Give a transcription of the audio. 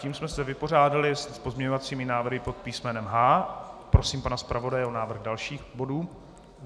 Tím jsme se vypořádali s pozměňovacími návrhy pod písmenem H. Prosím pana zpravodaje o návrh dalších bodů.